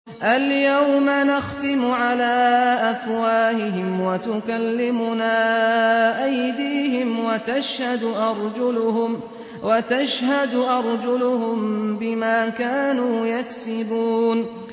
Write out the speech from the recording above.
الْيَوْمَ نَخْتِمُ عَلَىٰ أَفْوَاهِهِمْ وَتُكَلِّمُنَا أَيْدِيهِمْ وَتَشْهَدُ أَرْجُلُهُم بِمَا كَانُوا يَكْسِبُونَ